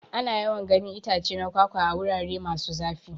Ana yawan ganin itace na kwakwa a. wurare masu zafi.